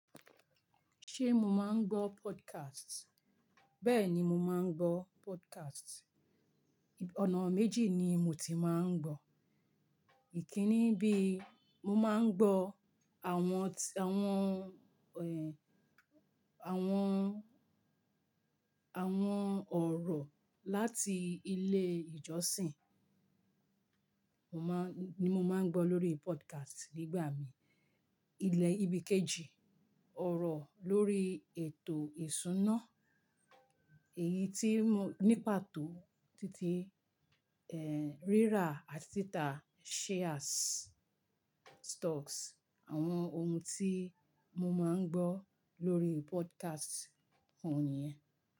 Ṣé mo máa ń gbọ́ podcast? Bẹ́ẹ̀ni, mo máa ń gbọ́ podcast. Ọ̀nà méjì ni mo ti máa ń gbọ̀. Èyí kínní bí, mo máa ń gbọ́ àwọn, àwọn, àwọn, àwọn ọ̀rọ̀ láti ilé ìjọsìn. Mo máa ń, ni mo máa ń gbọ́ lórí podcast nígbà mi. Ilẹ̀ ibi kejì, ọ̀rọ̀ lórí ètò ìṣúná. Èyí tí mó, ní pàtó títí, eh, rírà àti títà shares, stocks. Àwọn ohun tí mo máa ń gbọ́ lórí podcast òhun ni yẹn.